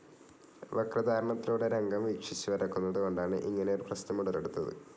വക്രധാരണത്തിലൂടെ രംഗം വീക്ഷിച്ചു വരക്കുന്നതുകൊണ്ടാണ് ഇങ്ങനെയൊരു പ്രശ്നം ഉടലെടുത്തത്.